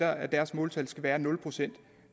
at deres måltal skal være nul procent